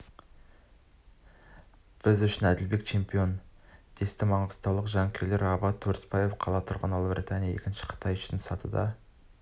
біз үшін әділбек чемпион десті маңғыстаулық жанкүйерлер абат өрісбаев қала тұрғыны ұлыбритания екінші қытай үшінші сатыда